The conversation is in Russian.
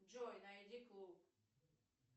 джой найди клуб